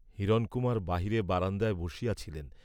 হিরণকুমার বাহিরে বারান্দায় বসিয়াছিলেন!